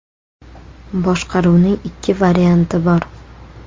Boshqaruvning ikki varianti bor.